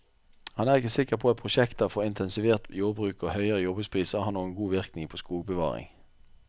Han er ikke sikker på at prosjekter for intensivert jordbruk og høyere jordbrukspriser har noen god innvirkning på skogbevaring.